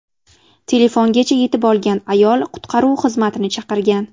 Telefongacha yetib olgan ayol qutqaruv xizmatini chaqirgan.